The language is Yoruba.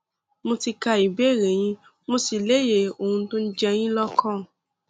mo ti ka ìbéèrè yín mo sì lóye ohun tó ń jẹ yín lọkàn